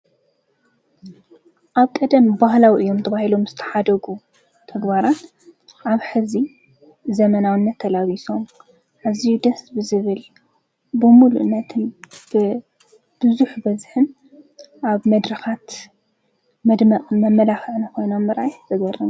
ኣብ ቀደም ባህላው እዮም ተብሂዘገረንስ ተሓደጉ ተግባራት ኣብ ሕዚ ዘመናዊነ ተላቢሶም ሕዚይ ደስ ብዝብል ብሙሉነትን ብብዙኅ በዝኅን ኣብ መድርኻት መድማቕ መመላኽንኾይኑ ምራየ ዘገረን።